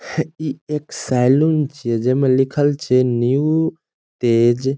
इ एक सैलून छीये जे में लिखल छै न्यू तेज --